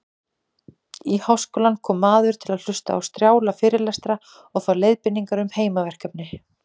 Í háskólann kom maður til að hlusta á strjála fyrirlestra og fá leiðbeiningar um heimaverkefni.